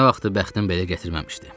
Nə vaxtdır bəxtim belə gətirməmişdi.